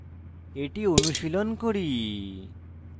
এটি অনুশীলন করি